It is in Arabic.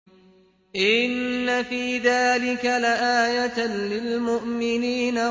إِنَّ فِي ذَٰلِكَ لَآيَةً لِّلْمُؤْمِنِينَ